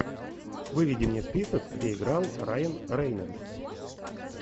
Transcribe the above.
выведи мне список где играл райан рейнольдс